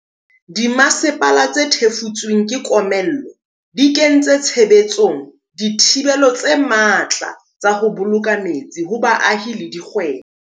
Dimasepala tse thefotsweng ke komello di kentse tshebetsong dithibelo tse matla tsa ho bolo ka metsi ho baahi le dikgwebo.